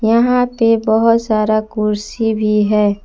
यहां पे बहुत सारा कुर्सी भी है।